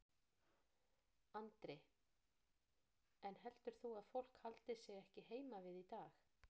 Andri: En heldur þú að fólk haldi sig ekki heima við í dag?